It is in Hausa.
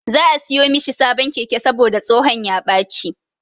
Za'a siyo mishi sabon keke saboda tsohon ya ɓaci.